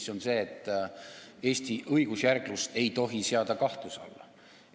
See on see, et Eesti õigusjärglust ei tohi seada kahtluse alla.